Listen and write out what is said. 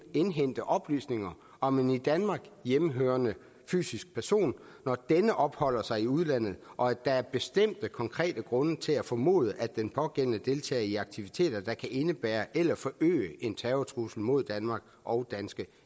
at indhente oplysninger om en i danmark hjemmehørende fysisk person når denne opholder sig i udlandet og der er bestemte konkrete grunde til at formode at den pågældende deltager i aktiviteter der kan indebære eller forøge en terrortrussel mod danmark og danske